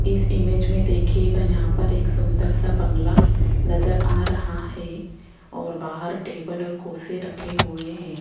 इस इमेज में देखिएगा यहां पर एक सुंदर सा बंगला नजर आ रहा है और बाहर टेबल और कुर्सी रखे हुए हैं।